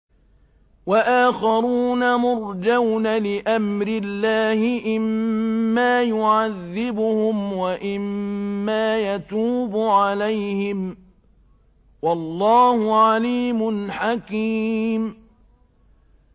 وَآخَرُونَ مُرْجَوْنَ لِأَمْرِ اللَّهِ إِمَّا يُعَذِّبُهُمْ وَإِمَّا يَتُوبُ عَلَيْهِمْ ۗ وَاللَّهُ عَلِيمٌ حَكِيمٌ